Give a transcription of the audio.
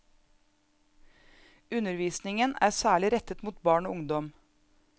Undervisningen er særlig rettet mot barn og ungdom.